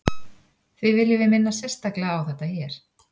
því viljum við minna sérstaklega á þetta hér